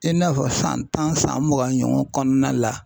I n'a fɔ san tan san mugan ɲɔgɔn kɔnɔna la.